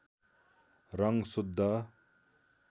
रङ शुद्ध